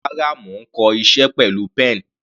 Rárá, mo ń kọ iṣẹ́ pẹ̀lú pen.